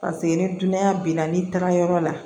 Paseke ni dunanya b'i la n'i taga yɔrɔ la